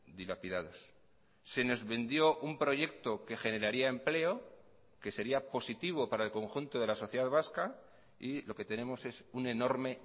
dilapidados se nos vendió un proyecto que generaría empleo que sería positivo para el conjunto de la sociedad vasca y lo que tenemos es un enorme